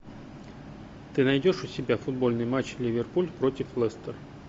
ты найдешь у себя футбольный матч ливерпуль против лестер